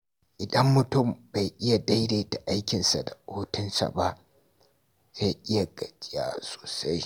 Idan mutum bai iya daidaita aikinsa da hutunsa ba, zai iya gajiya sosai.